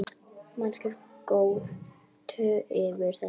Margir göptu yfir þessu